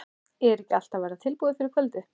Er ekki allt að verða tilbúið fyrir kvöldið?